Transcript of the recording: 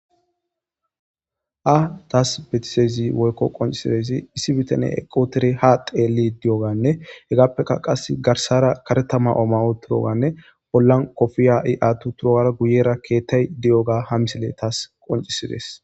Ha taas betiszayssi woykko qoncisidayssi issi bitane eqqi uttiri ha teeliidi di'oganne hegaappeka qas garsara karetta ma'o utroganne bollan kofiya i atti turogara guyera keettay de'yogga ha misiley taas qoncisiidees